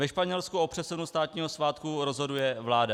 Ve Španělsku o přesunu státního svátku rozhoduje vláda.